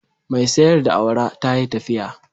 Mai sayar da awara ta yi tafiya